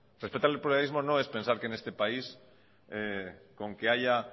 respetar el pluralismo no es pensar que en este país con que haya